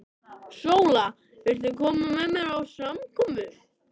SÓLA: Viltu koma með mér á samkomu?